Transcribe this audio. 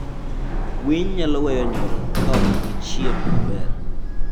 Winy nyalo weyo nyuol ka ok gichiem maber.